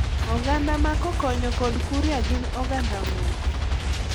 Oganda ma Kokonyo kod Kuria gin oganda moko,